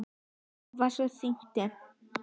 Páll Valsson þýddi.